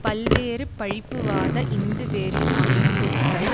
பல்வேறு பழிப்புவாத இந்து வெறி அமைப்புக்கள்